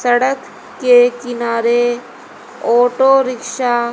सड़क के किनारे ऑटो रिक्शा --